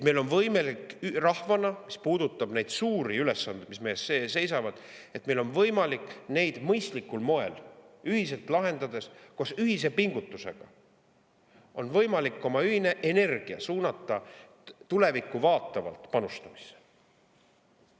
Mis puudutab neid suuri ülesandeid, mis meil ees seisavad, siis meil on võimalik neid mõistlikul moel ühiselt lahendada, suunata ühine pingutus ja ühine energia tulevikku panustamisse.